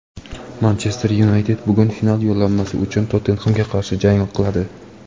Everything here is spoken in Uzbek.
"Manchester Yunayted" bugun final yo‘llanmasi uchun "Tottenhem"ga qarshi jang qiladi.